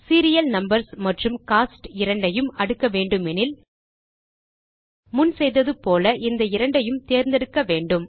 serial numbers மற்றும் cost இரண்டையும் அடுக்க வேண்டுமெனில் முன் செய்தது போல இந்த இரண்டையும் தேர்ந்தெடுக்க வேண்டும்